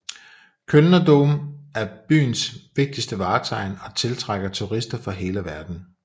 Kölner Dom er byens vigtigste vartegn og tiltrækker turister fra hele verden